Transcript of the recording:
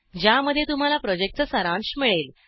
ज्यामध्ये तुम्हाला प्रॉजेक्टचा सारांश मिळेल